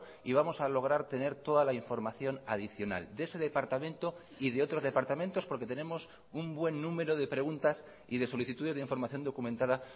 y vamos a lograr tener toda la información adicional de ese departamento y de otros departamentos porque tenemos un buen número de preguntas y de solicitudes de información documentada